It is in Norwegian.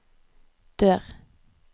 dør